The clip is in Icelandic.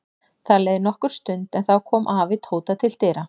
Það leið nokkur stund en þá kom afi Tóta til dyra.